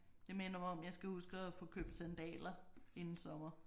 Det minder mig om jeg skal huske at få købt sandaler inden sommer